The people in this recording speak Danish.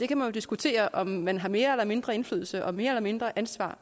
kan jo diskutere om man har mere eller mindre indflydelse og mere eller mindre ansvar